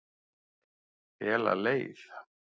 Fela leið